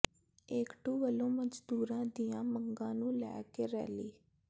ਏਕਟੂ ਵੱਲੋਂ ਮਜ਼ਦੂਰਾਂ ਦੀਆਂ ਮੰਗਾਂ ਨੂੰ ਲੈ ਕੇ ਰੈਲੀ